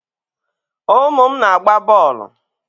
Umu m na-agba boolu